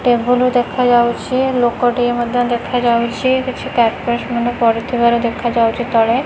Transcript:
Table ଦେଖା ଯାଉଛି ଲୋକ ଟିଏ ମଧ୍ଯ ଦେଖା ଯାଉଛି କିଛି କାର୍ପେଟସ୍ ମଧ୍ୟ ପଡ଼ି ଥିବାର ଦେଖା ଯାଉଚି ତଳେ।